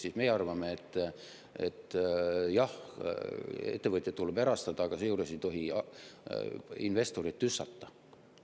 Aga meie arvame, et jah, ettevõtteid tuleb erastada, aga seejuures ei tohi investoreid tüssata.